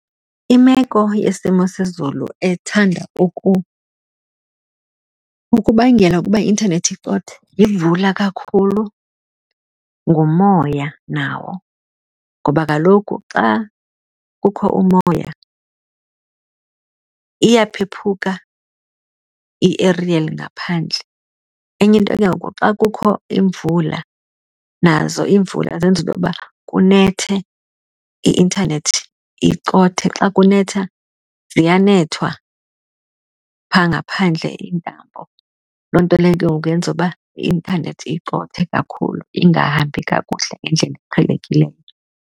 Imeko yesimo sezulu ethanda ukubangela ukuba i-intanethi icothe yimvula kakhulu, ngumoya nawo ngoba kaloku xa kukho umoya iyaphephuka i-aerial ngaphandle. Enye into ke ngoku xa kukho imvula, nazo iimvula zenza into yoba kunethe i-intanethi icothe. Xa kunetha ziyanethwa phaa ngaphandle iintambo, loo nto leyo ke ngoku yenza uba i-intanethi icothe kakhulu ingahambi kakuhle ngendlela eqhelekileyo.